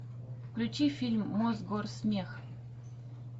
включи фильм мосгорсмех